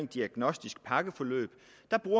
diagnostisk pakkeforløb